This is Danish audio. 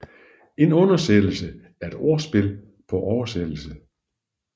En undersættelse er et ordspil på oversættelse